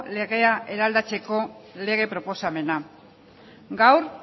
legea eraldatzeko lege proposamena gaur